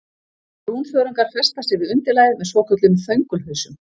Brúnþörungar festa sig við undirlagið með svokölluðum þöngulhausum.